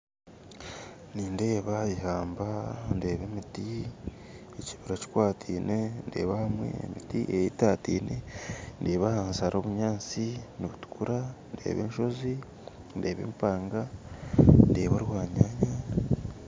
Nindeeba eihamba ndeeba emiti ekibira kikwatiine ndeeba ahamwe emiti eyetatiine, ndeeba ahansi hariho obunyasi nibutukura hariho enshoozi ndeeba empanga ndeeba orwanyanya